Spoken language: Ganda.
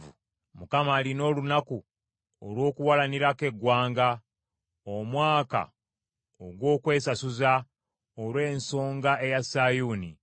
Mukama alina olunaku olw’okuwalanirako eggwanga, omwaka ogw’okwesasuza, olw’ensonga eya Sayuuni.